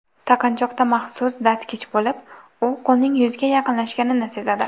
Taqinchoqda maxsus datchik bo‘lib, u qo‘lning yuzga yaqinlashganini sezadi.